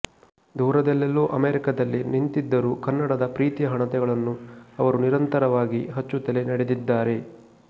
ದೂರದಲ್ಲೆಲ್ಲೂ ಅಮೆರಿಕದಲ್ಲಿ ನಿಂತಿದ್ದರೂ ಕನ್ನಡದ ಪ್ರೀತಿಯ ಹಣತೆಗಳನ್ನು ಅವರು ನಿರಂತರವಾಗಿ ಹಚ್ಚುತ್ತಲೇ ನಡೆದಿದ್ದಾರೆ